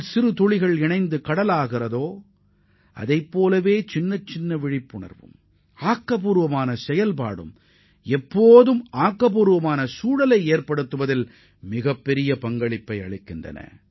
சிறு துளி தண்ணீர் சங்கமிப்பதால்தான் கடல் உருவாகிறது என்பதைப் போல ஒவ்வொரு ஆக்கப்பூர்வமான செயல்பாடும் நல்ல சுற்றுப்புறத்தை உருவாக்க அவசியமாகும்